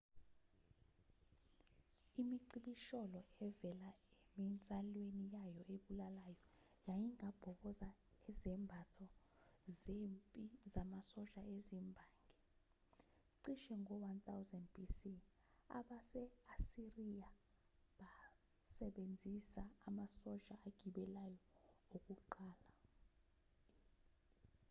imicibisholo evela eminsalweni yayo ebulalayo yayingabhoboza izembatho zempi zamasosha ezimbangi cishe ngo-1000 b.c. abase-asiriya basebenzisa amasosha agibeleyo okuqala